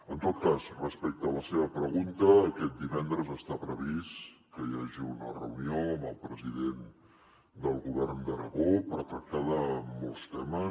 en tot cas respecte a la seva pregunta aquest divendres està previst que hi hagi una reunió amb el president del govern d’aragó per tractar de molts temes